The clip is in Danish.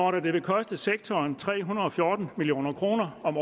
at det vil koste sektoren tre hundrede og fjorten million kroner om